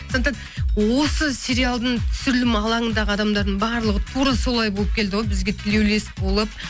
сондықтан осы сериалдың түсірілімі алаңындағы адамдардың барлығы тура солай болып келді ғой бізге тілеулес болып